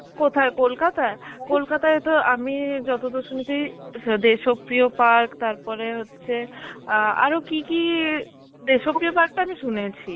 কোথায় কলকাতায়? কলকাতায় তো আমি যতদূর শুনেছি স~ দেশপ্রিয় park, তারপরে হচ্ছে আ আরো কি কি~ দেশপ্রিয় park টা আমি শুনেছি